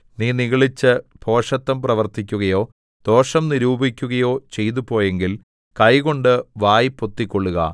നീ നിഗളിച്ച് ഭോഷത്തം പ്രവർത്തിക്കുകയോ ദോഷം നിരൂപിക്കുകയോ ചെയ്തുപോയെങ്കിൽ കൈകൊണ്ട് വായ് പൊത്തിക്കൊള്ളുക